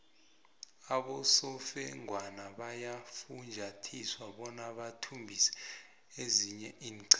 abosofengwana bayafunjathiswa bona bathumbise ezinye iinqhema